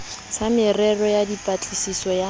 sa merero ya dipatlisiso ya